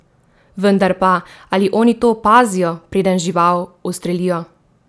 Vendar pa, ali oni to opazijo, preden žival ustrelijo?